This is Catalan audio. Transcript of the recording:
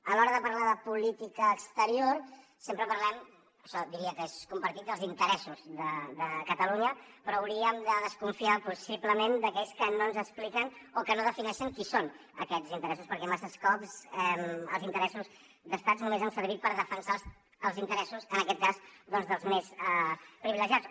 a l’hora de parlar de política exterior sempre parlem això diria que és compartit dels interessos de catalunya però hauríem de desconfiar possiblement d’aquells que no ens expliquen o que no defineixen qui són aquests interessos perquè massa cops els interessos d’estats només han servit per defensar els interessos en aquest cas dels més privilegiats